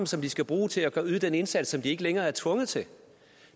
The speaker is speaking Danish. som de skal bruge til at yde den indsats som de ikke længere er tvunget til